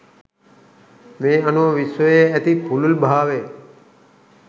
මේ අනුව විශ්වයේ ඇති පුළුල්භාවය